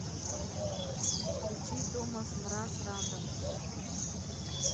включи томас мраз рандом